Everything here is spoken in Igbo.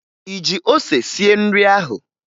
Ị ji ose sie nri ahụ?